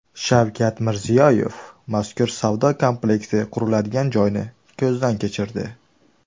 Shavkat Mirziyoyev mazkur savdo kompleksi quriladigan joyni ko‘zdan kechirdi.